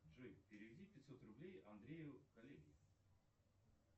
джой переведи пятьсот рублей андрею коллеге